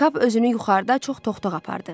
Kap özünü yuxarıda çox toxdaq apardı.